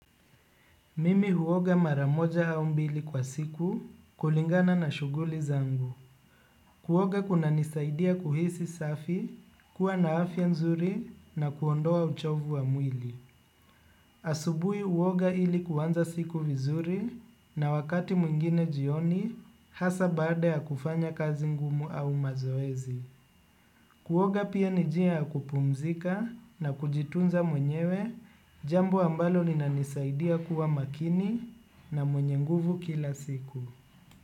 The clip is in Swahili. Mimi huoga mara moja au mbili kwa siku kulingana na shuguli zangu. Kuoga kunanisaidia kuhisi safi, kuwa na afya nzuri na kuondoa uchovu wa mwili. Asubui huoga ili kuanza siku vizuri na wakati mwingine jioni hasa baada ya kufanya kazi ngumu au mazoezi. Kuoga pia ni jia ya kupumzika na kujitunza mwenyewe, jambo ambalo linanisaidia kuwa makini na mwenye nguvu kila siku.